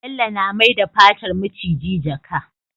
Bello na mai da fatar miciji jaka